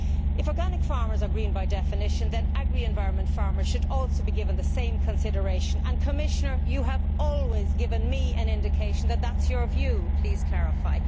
If organic farmers are green by definition, then agri environment farmers should also be given the same consideration and, Commissioner, you have always given me an indication that this is your view please clarify.